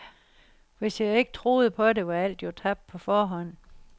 Hvis jeg ikke troede på det, var alt jo tabt på forhånd.